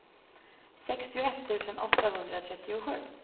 sextioett tusen åttahundratrettiosju